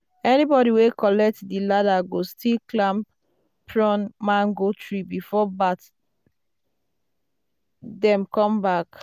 "anybody wey collect di ladder go still climb prune mango tree before bat dem come back."